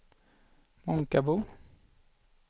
Månkarbo